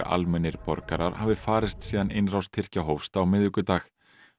almennir borgarar hafi farist síðan innrás Tyrkja hófst á miðvikudag